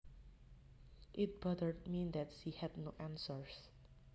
It bothered me that she had no answers